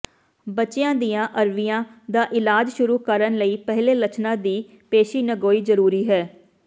ਬੱਚਿਆਂ ਦੀਆਂ ਅਰਵੀਆਂ ਦਾ ਇਲਾਜ ਸ਼ੁਰੂ ਕਰਨ ਲਈ ਪਹਿਲੇ ਲੱਛਣਾਂ ਦੀ ਪੇਸ਼ੀਨਗੋਈ ਜ਼ਰੂਰੀ ਹੈ